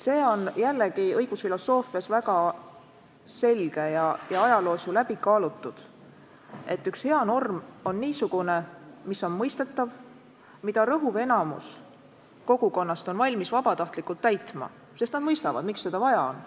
See on õigusfilosoofias väga selge ja ajalooski läbi kaalutud põhimõte, et üks hea norm on niisugune, mis on mõistetav, mida rõhuv enamik kogukonnast on valmis vabatahtlikult täitma, sest inimesed mõistavad, miks seda vaja on.